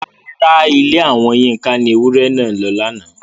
Rárá, Ilé àwọn Yinka ni ewúrẹ́ náà lọ lánàá.